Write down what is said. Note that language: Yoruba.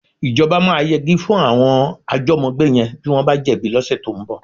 Ìjọba máa yegi fún àwọn àjọ́mọ́gbé yẹn bí wọ́n bá jẹ̀bi lọ́sẹ̀ tó ń bọ̀.